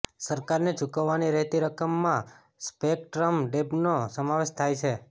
સરકારને ચૂકવવાની રહેતી રકમમાં સ્પેકટ્રમ ડેબ્ટ્નો સમાવેશ થાય છે